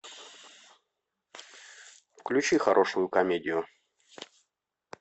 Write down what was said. включи хорошую комедию